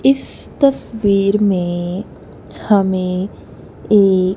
इस तस्वीर में हमें एक--